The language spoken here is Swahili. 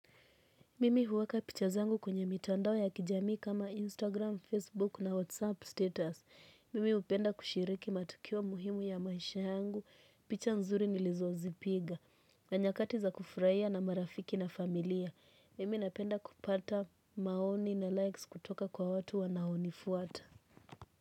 Mimi huweka picha zangu kwenye mitandao ya kijamii kama Instagram, Facebook na WhatsApp status. Mimi hupenda kushiriki matukio muhimu ya maisha yangu. Picha nzuri nilizozipiga. Na nyakati za kufurahia na marafiki na familia. Mimi napenda kupata maoni na likes kutoka kwa watu wanaonifuata.